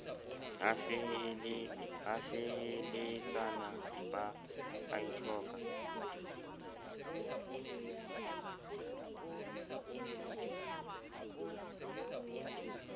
a feheletsana ba a ithoka